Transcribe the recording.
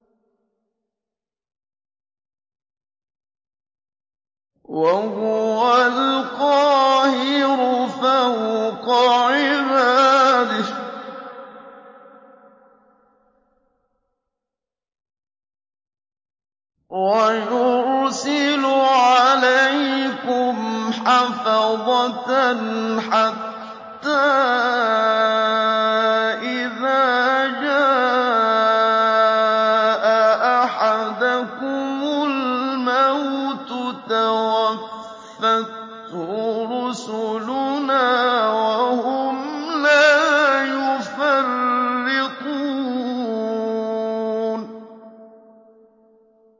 وَهُوَ الْقَاهِرُ فَوْقَ عِبَادِهِ ۖ وَيُرْسِلُ عَلَيْكُمْ حَفَظَةً حَتَّىٰ إِذَا جَاءَ أَحَدَكُمُ الْمَوْتُ تَوَفَّتْهُ رُسُلُنَا وَهُمْ لَا يُفَرِّطُونَ